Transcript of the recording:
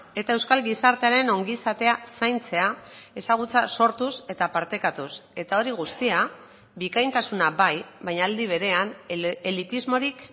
eta euskal gizartearen ongizatea zaintzea ezagutza sortuz eta partekatuz eta hori guztia bikaintasuna bai baina aldi berean elitismorik